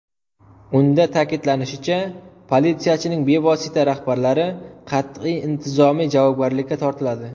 Unda ta’kidlanishicha, politsiyachining bevosita rahbarlari qat’iy intizomiy javobgarlikka tortiladi.